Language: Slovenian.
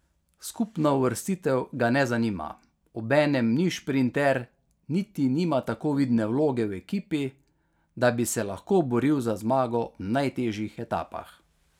Skupna uvrstitev ga ne zanima, obenem ni šprinter niti nima tako vidne vloge v ekipi, da bi se lahko boril za zmago v najtežjih etapah.